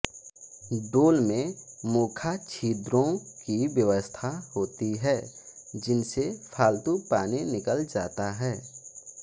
डोल में मोखा छिद्रों की व्यवस्था होती है जिनसे फालतू पानी निकल जाता है